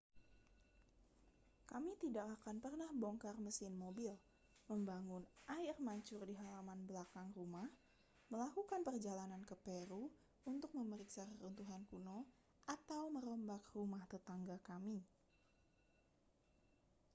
kami tidak akan pernah bongkar mesin mobil membangun air mancur di halaman belakang rumah melakukan perjalanan ke peru untuk memeriksa reruntuhan kuno atau merombak rumah tetangga kami